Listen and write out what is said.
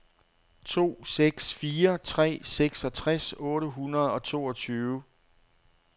to seks fire tre seksogtres otte hundrede og toogtyve